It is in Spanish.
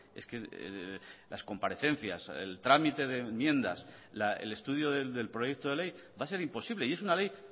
es que las comparecencias el trámite de enmiendas el estudio del proyecto de ley va a ser imposible y es una ley